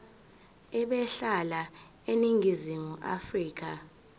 ebehlala eningizimu afrika